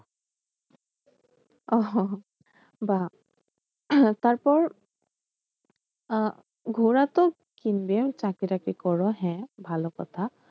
ও বাহ তারপর আহ ঘোড়া তো কিনবে চাকরি টাকরি করো হ্যাঁ ভালো কথা।